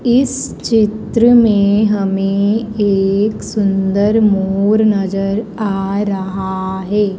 इस चित्र में हमें एक सुंदर मोर नजर आ रहा है।